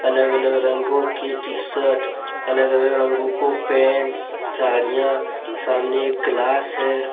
अलग अलग रंगों की टी_शर्ट अलग अलग रंगो के पेंट सड़िया सामने एक ग्लास है।